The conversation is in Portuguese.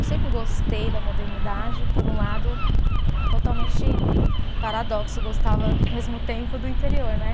Eu sempre gostei da modernidade, por um lado, totalmente paradoxo, gostava ao mesmo tempo do interior, né?